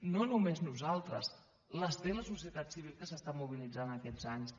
no només nosaltres les té la societat civil que s’ha estat mobilitzant aquests anys